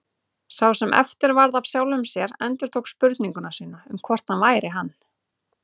Sá sem eftir varð af sjálfum sér endurtók spurningu sína um hvort hann væri hann.